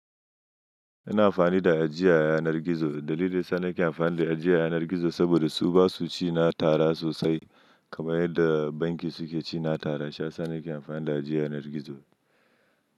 Ina amfani da ajiya yanar gizo. Dalilin da yasa nake amfani da ajiya yanar gizo saboda su ba su ci na tara sosai kamar yadda banki suke ci na tara. Shiya sa nake amfani da ajiyar yanar gizo.